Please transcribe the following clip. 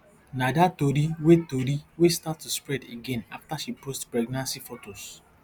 na dat tori wey tori wey start to spread again afta she post pregnancy fotos